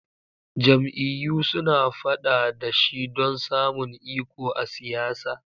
Jam'iyyu suna fada da shi don samun iko a siyasa.